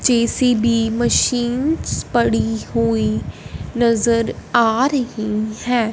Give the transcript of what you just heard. JCB machines पड़ी हुई नजर आ रहीं हैं।